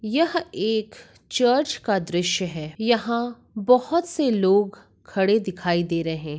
यह एक चर्च का दृश्य है यहां बहुत से लोग खड़े दिखाइ दे रहे हैं।